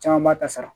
Caman b'a ta sara